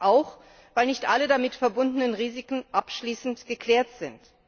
auch weil nicht alle damit verbundenen Risiken abschließend geklärt sind.